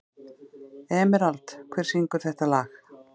Emerald, hver syngur þetta lag?